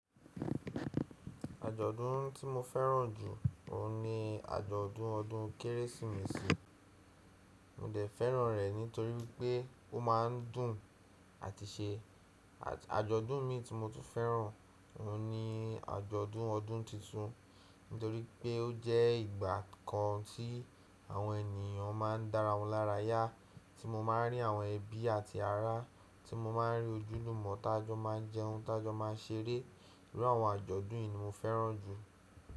Àjọ̀dún tí mo fẹ́ràn jù, òun ni àjọ̀dún ọdún Kérésìmesì. Mó dẹ̀ fẹ́ràn rẹ̀ nítorí pé ó ma ń dùn àti ṣe. Àjọ̀dún imii tí mo tún fẹ́ràn, òun ni àjọ̀dún ọdún titun nítorí pé ó jẹ́ ìgbàa kan tí àwọn ènìyàn ma ń dára wọn lára yá, tí mo ma ń rí àwọn ẹbí àti ará, tí mo ma ń rí ojúlùmọ̀ tájọ́ ma ń jẹun, tájọ́ maa ṣeré. Irú àwọn àjọ̀dún yìí ni mo fẹ́ràn jù.